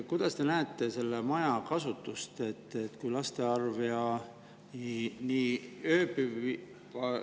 Millisena te näete selle maja kasutust?